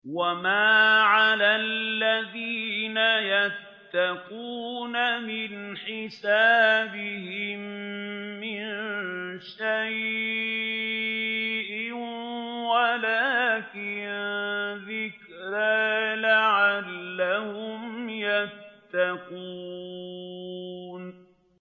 وَمَا عَلَى الَّذِينَ يَتَّقُونَ مِنْ حِسَابِهِم مِّن شَيْءٍ وَلَٰكِن ذِكْرَىٰ لَعَلَّهُمْ يَتَّقُونَ